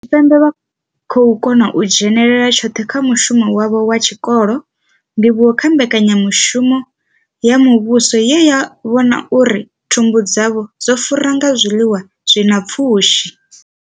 Tshipembe vha khou kona u dzhenela tshoṱhe kha mushumo wavho wa tshikolo, ndivhuwo kha mbekanyamushumo ya muvhuso ye ya vhona uri thumbu dzavho dzo fura nga zwiḽiwa zwi na pfushi.